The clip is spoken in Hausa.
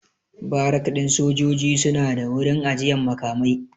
Barak ɗin sojoji suna da wurin ajiyan makamai